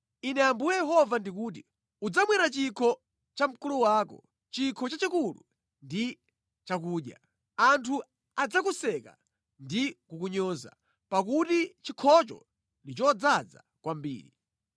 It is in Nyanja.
“Ine Ambuye Yehova ndikuti: “Udzamwera chikho cha mkulu wako, chikho chachikulu ndi chakuya; anthu adzakuseka ndi kukunyoza, pakuti chikhocho ndi chodzaza kwambiri.